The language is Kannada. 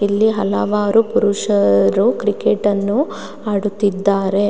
ಇಲ್ಲಿ ಹಲವಾರು ಪುರುಷರು ಕ್ರಿಕೆಟ್ ಅನ್ನು ಆಡುತ್ತಿದ್ದಾರೆ.